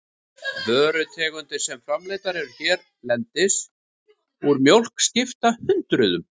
Vörutegundir sem framleiddar eru hérlendis úr mjólk skipta hundruðum.